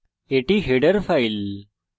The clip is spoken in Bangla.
এটি header file